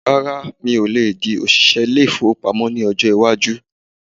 Rárá, mi ò lè di òṣìṣẹ ilé-ìfowópamọ́ ní ọjọ́ iwájú